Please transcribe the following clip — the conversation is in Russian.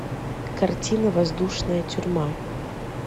картина воздушная тюрьма